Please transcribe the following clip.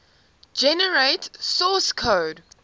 generate source code